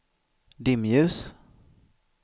dimljus